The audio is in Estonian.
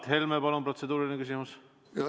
Mart Helme, palun protseduuriline küsimus!